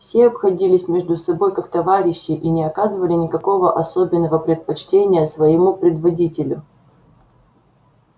все обходились между собою как товарищи и не оказывали никакого особенного предпочтения своему предводителю